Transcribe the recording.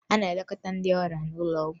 A na-elekọta ndị ọrịa n'ụlọ ọgwụ